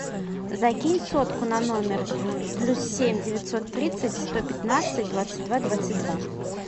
закинь сотку на номер плюс семь девятьсот тридцать сто пятнадцать двадцать два двадцать два